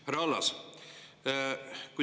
Härra Allas!